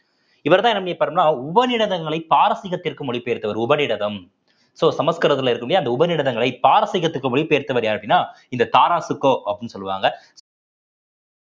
இவர்தான் என்ன பண்ணிருப்பார்ன்னா உபநிடதங்களை பாரசீகத்திற்கு மொழி பெயர்த்தவர் உபநிடதம் so சமஸ்கிருதத்துல இருக்கும் இல்லையா அந்த உபநிடதங்களை பாரசீகத்துக்கு மொழி பெயர்த்தவர் யாரு அப்படின்னா இந்த தாராஷிகோ அப்படின்னு சொல்லுவாங்க